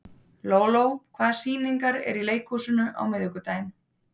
Lóló, hvaða sýningar eru í leikhúsinu á miðvikudaginn?